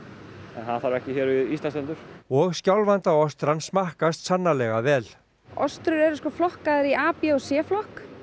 en það þarf ekki hér við Íslandsstrendur og smakkast sannarlega vel eru flokkaðar í a b og c flokk